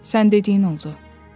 “Sən dediyin oldu.”